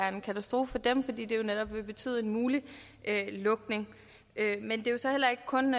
en katastrofe for dem fordi det netop vil betyde en mulig lukning men det er så heller ikke kun